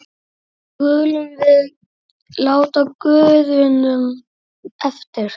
skulum við láta guðunum eftir.